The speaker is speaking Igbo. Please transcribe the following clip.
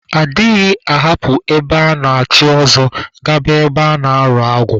A dịghị ahapụ ebe a na-echi ọzọ, gaba ebe a na-arụ agwụ